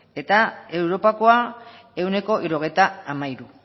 eta europakoa ehuneko hirurogeita hamairu